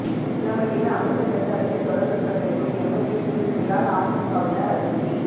உசிலம்பட்டியில் அமைச்சர் பிரசாரத்தை தொடர்ந்து புறக்கணிப்பு எம்எல்ஏ நீதிபதியால் அதிமுகவினர் அதிர்ச்சி